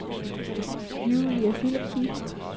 Julie Philipsen